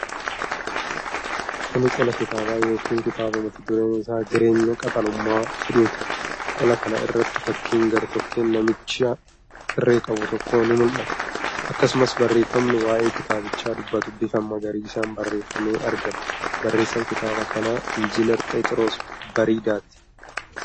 Kuni Qola kitaabaa yookiin kitaaba mata dureen isaa "Jireenya Qaxalummaa" jedhuuti. Qola kana irratti fakkiin gartokkeen namicha irree qabuu tokkoo ni mul'ata. Akkasumas barreefamni waa'ee kitaabichaa dubbatu bifa magariisaan barreefamee argama. Barreessaan kitaaba kanaa Injiinar Pheexiroos Biradaati.